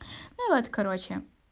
ну вот короче